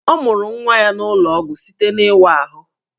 Ọ mụrụ nwa ya n'ụlọ ọgwụ site n'ịwa ahụ